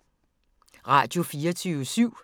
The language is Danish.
Radio24syv